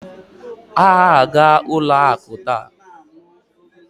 Ha aga-ụlọ akụ taa?